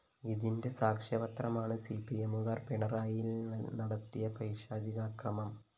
ഇതിന്റെ സാക്ഷ്യപത്രമാണ് സിപിഎമ്മുകാര്‍ പിണറായിയില്‍ നടത്തിയ പൈശാചിക അക്രമം